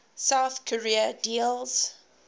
south korea deals